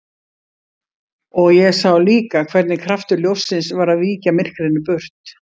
Og ég sá líka hvernig kraftur ljóssins var að víkja myrkrinu burt.